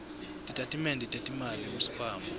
titatimende tetimali kusikhwama